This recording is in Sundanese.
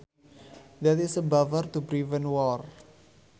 That is a buffer to prevent war